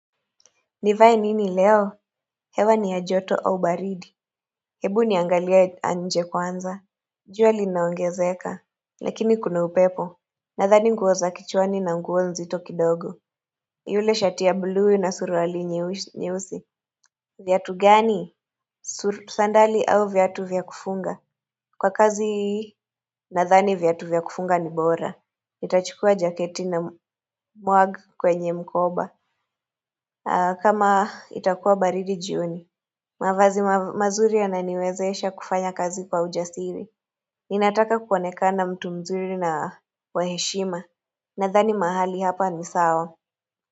Nivae nini leo? Hewa ni yajoto au baridi. Hebu niangalie nje kwanza. Jua linaongezeka. Lakini kuna upepo. Nathani ngo za kichwani na nguo nzito kidogo. Yule shatia bluu na surualinye usi. Viatu gani? Sandali au viatu vya kufunga. Kwa kazi nathani viatu vyakufunga ni bora. nItachukua jaketi na mwagi kwenye mkoba. Kama itakuwa baridi jioni. Mavazi mazuri yananiwezesha kufanya kazi kwa ujasiri. Ninataka kuonekana mtu mzuri na waheshima. Nadhani mahali hapa ni sawa.